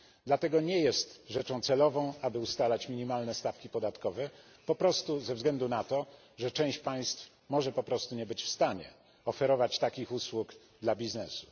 Dlatego nie jest rzeczą celową, aby ustalać minimalne stawki podatkowe, po prostu ze względu na to, że część państw może po prostu nie być w stanie oferować takich usług dla biznesu.